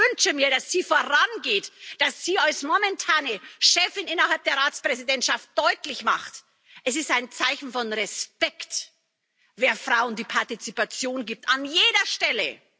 Ich wünsche mir, dass sie vorangeht, dass sie als momentane Chefin innerhalb der Ratspräsidentschaft deutlich macht Es ist ein Zeichen von Respekt, wer Frauen die Partizipation gibt an jeder Stelle.